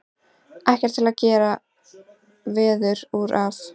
Ekkert til að gera veður út af.